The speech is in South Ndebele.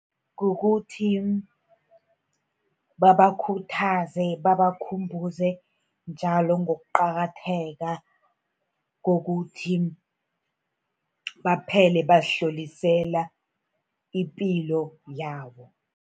Kukuthi babakhuthaze, babakhumbuze njalo ngokuqakatheka kokuthi baphele bazihlolisela ipilo yabo.